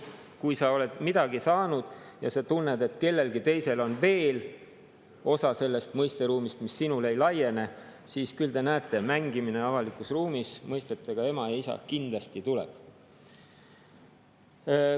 Kui sa oled midagi saanud ja sa tunned, et kellelgi teisel on veel mingi osa sellest mõisteruumist, mis sinule ei laiene, siis küll te näete, mängimine avalikus ruumis mõistetega "ema" ja "isa" kindlasti tuleb.